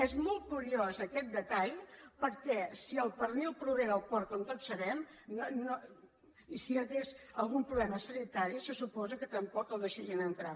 és molt curiós aquest detall perquè si el pernil prové del porc com tots sabem i si hi hagués algun problema sanitari se suposa que tampoc l’hi deixarien entrar